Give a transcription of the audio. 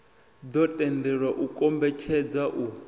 ḓo tendelwa u kombetshedza u